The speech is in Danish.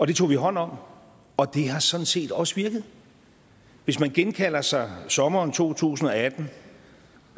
det tog vi hånd om og det har sådan set også virket hvis man genkalder sig sommeren to tusind og atten